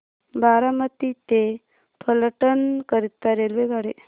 बारामती ते फलटण करीता रेल्वेगाडी